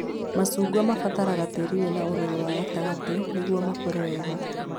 Macungwa mabataraga tĩĩri wĩna ũrũrũ wa gatagatĩ nĩguo makũre wega